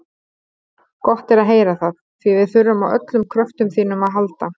Gott er að heyra það, því við þurfum á öllum kröftum þínum að halda.